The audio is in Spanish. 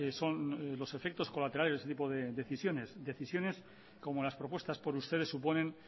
son los efectos colaterales de ese tipo de decisiones decisiones como las propuestas por ustedes suponen